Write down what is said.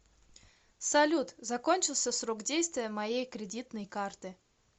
салют закончился срок действия моей кредитной карты